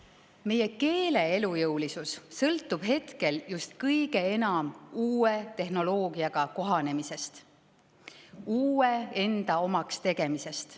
Meie keele elujõulisus sõltub hetkel just kõige enam uue tehnoloogiaga kohanemisest, uue enda omaks tegemisest.